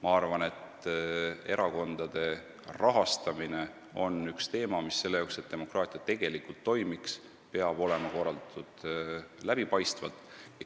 Ma arvan, et erakondade rahastamine on üks teema, mis selleks, et demokraatia tegelikult toimiks, peab olema korraldatud läbipaistvalt.